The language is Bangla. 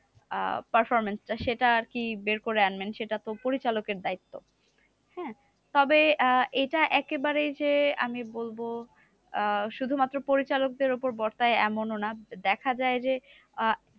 আহ performance টা সেটা আরকি বের করে আনবেন সেটা তো পরিচালকের দায়িত্ব। হ্যাঁ তবে আহ এটা একেবারেই যে, আমি বলবো আহ শুধুমাত্র পরিচালকদের উপর বর্তায় এমনও না। দেখা যায় যে, আহ